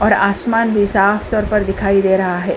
और आसमान भी साफ़ तौर पर दिखाई दे रहा है।